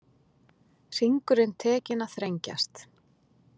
Hringurinn tekinn að þrengjast